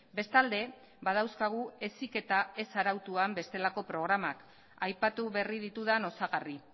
bestalde badauzkagu heziketa ez arautuan bestelako programak aipatu berri ditudan osagarri